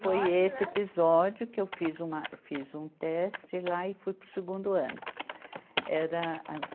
né. Foi esse episódio que eu fiz um teste lá e fui para o segundo ano. Era